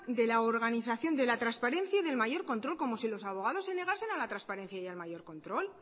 de la organización de la transparencia y del mayor control cómo si los abogados se negasen a la transparencia y al mayor control